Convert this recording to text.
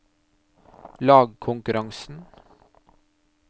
lagkonkurransen